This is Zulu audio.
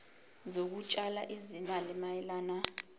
zokutshala izimali mayelana